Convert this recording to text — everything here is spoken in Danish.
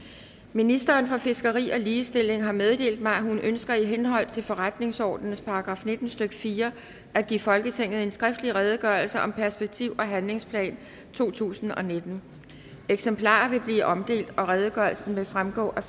ministeren for fiskeri og ligestilling har meddelt mig at hun ønsker i henhold til forretningsordenens § nitten stykke fire at give folketinget en skriftlig redegørelse om perspektiv og handlingsplan totusinde og nittende eksemplarer vil blive omdelt og redegørelsen vil fremgå af